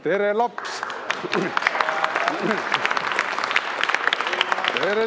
Tere, laps!